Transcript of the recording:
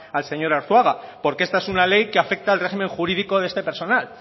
al señor arzuaga porque esta es una ley que afecta al régimen jurídico de este personal